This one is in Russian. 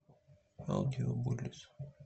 аудио буллис